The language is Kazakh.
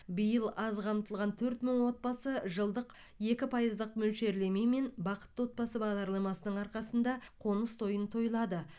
биыл аз қамтылған төрт мың отбасы жылдық екі пайыздық мөлшерлемемен бақытты отбасы бағдарламасының арқасында қоныс тойын тойлады